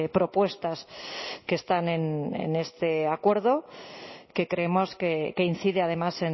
propuestas que están en este acuerdo que creemos que incide además